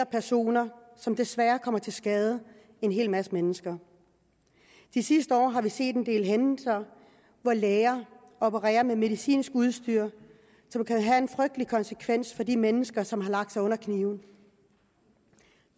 personer desværre kommer til skade en hel masse mennesker de sidste år har vi set en del hændelser hvor læger opererer med medicinsk udstyr som kan have en frygtelig konsekvens for de mennesker som har lagt sig under kniven i